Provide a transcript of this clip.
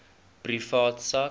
privaat sak